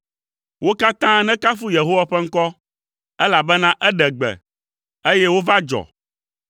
Wo katã nekafu Yehowa ƒe ŋkɔ, elabena eɖe gbe, eye wova dzɔ.